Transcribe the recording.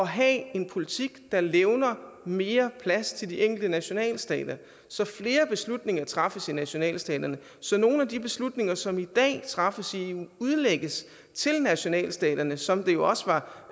have en politik der levner mere plads til de enkelte nationalstater så flere beslutninger træffes i nationalstaterne og så nogle af de beslutninger som i dag træffes i eu udlægges til nationalstaterne som det jo også var